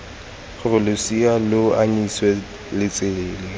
gore losea lo anyisiwa letsele